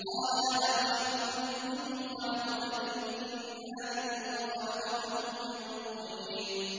قَالَ أَنَا خَيْرٌ مِّنْهُ ۖ خَلَقْتَنِي مِن نَّارٍ وَخَلَقْتَهُ مِن طِينٍ